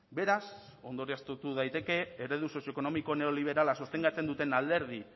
beraz ondorioztatu daiteke eredu sozioekonomiko neoliberala sostengatzen duten alderdi